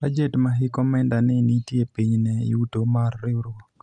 bajet ma hik omenda ni nitie piny ne yuto mar riwruok